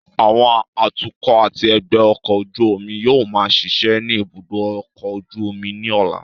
Àwọn atukọ̀ àti ẹgbẹ́ ọkọ̀ ojú omi yóò máa ṣiṣẹ́ ní ibùdó ọkọ̀ ojú omi ní ọ̀la